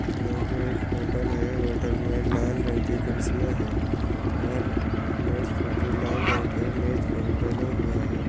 यह भी एक होटल है | होटल में लाल रंग की कुर्सियां हैं और मेज़ पे भी लाल रंग का मेज पोज़ डाल हुआ है।